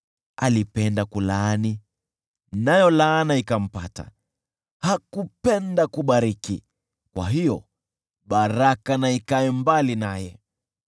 Alipenda kulaani, nayo laana ikampata; hakupenda kubariki, kwa hiyo baraka na ikae mbali naye.